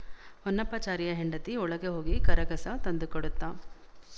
ಹೊನ್ನಪ್ಪಾಚಾರಿಯ ಹೆಂಡತಿ ಒಳಗೆ ಹೋಗಿ ಕರಗಸ ತಂದುಕೊಡುತ್ತ